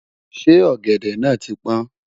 ṣé ògèdè nà tí pọn?